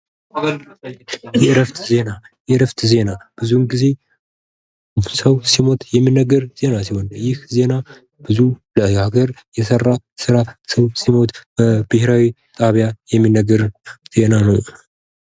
ዜና የመረጃ ነፃነትን የሚያረጋግጥና ዜጎች በመንግስታቸውና በዙሪያቸው ባሉ ጉዳዮች ላይ በቂ ግንዛቤ እንዲኖራቸው የሚያስችል መሠረታዊ መብት ነው